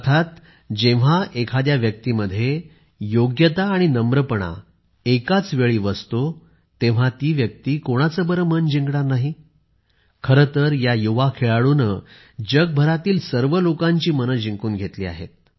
अर्थात जेव्हा एखाद्या व्यक्तीमध्ये योग्यता आणि नम्रपणा एकाच वेळी वसते तेव्हा ती व्यक्ती कोणाचे बरे मन जिंकणार नाही खरेतर या युवा खेळाडुने जगभरातील सर्व लोकांचे मन जिंकून घेतले आहे